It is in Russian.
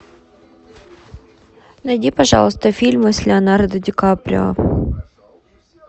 найди пожалуйста фильмы с леонардо ди каприо